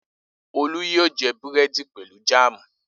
Olú yóò jẹ búrẹ́dì pẹ̀lú jáámù.